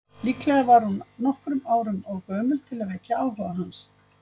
Líklega var hún nokkrum árum of gömul til að vekja áhuga hans.